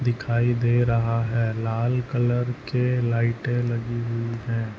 दिखाई दे रहा है लाल कलर के लाइटे लगी हुई है।